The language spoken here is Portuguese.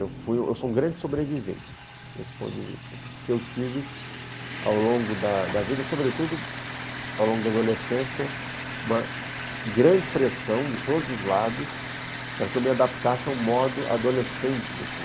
Eu fui, eu sou um grande sobrevivente desse ponto de vista, porque eu tive ao longo da vida, sobretudo ao longo da adolescência, uma grande pressão de todos os lados para que eu me adaptasse ao modo adolescente de ser.